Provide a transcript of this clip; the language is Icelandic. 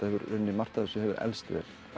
í rauninni margt af þessu hefur elst vel